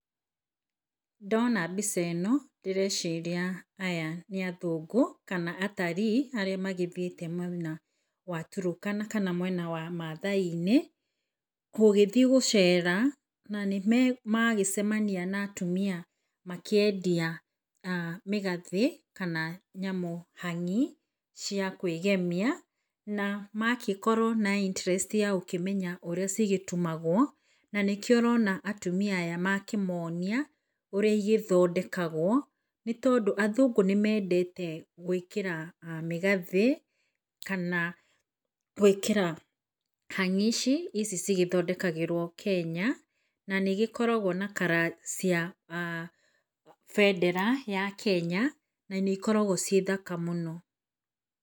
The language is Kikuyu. Ndona mbica ĩno ndĩreciria aya nĩ athũngũ kana atarii arĩa magĩcerete mwena wa turũkana kana mwena wa mathaai inĩ gũgĩthiĩ gũcera nanĩmacemania na atumia makĩendia mĩgathe kana nyamũ hang'i cia kwĩgemia na magagĩkorwo mena interest ya gũkĩmenya ũrĩa cigĩtumagwo nanĩkĩo ũrona atumia aya makĩmonia ũrĩa igĩthondekagwo nĩ tondũ athũngũ nĩmendete gwĩkĩra mĩgathĩ kana gwĩkĩra hang'i ici cigĩthondekagĩrwo Kenya nanĩigĩkoragwo na color cia bendera ya Kenya nanĩikoragwo ciĩthaka mũno.